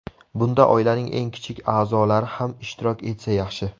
Bunda oilaning eng kichik a’zolari ham ishtirok etsa yaxshi.